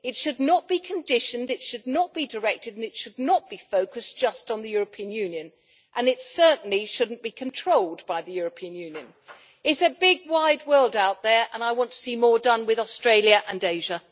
It should not be conditioned, it should not be directed, and it should not be focused just on the European Union. And it certainly should not be controlled by the European Union. It is a big wide world out there, and I want to see more done with Australia and Asia.